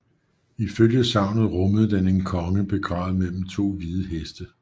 Ifølge sagnet rummede den en konge begravet mellem to hvide heste